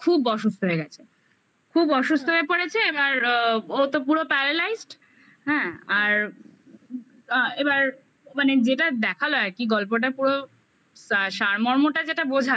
খুব অসুস্থ হয়ে গেছে খুব অসুস্থ হ্যাঁ হয়ে পড়েছে এবার ও তো পুরো paralyzed হ্যাঁ আর এবার মানে যেটা দেখালো আর কি গল্পটা পুরো সারমর্মটা যেটা বোঝালো